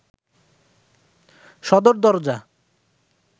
সদর দরজা